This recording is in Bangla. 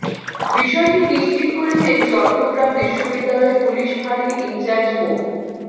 বিষয়টি নিশ্চিত করেছেন চট্টগ্রাম বিশ্ববিদ্যালয় পুলিশ ফাঁড়ির ইনচার্জ মো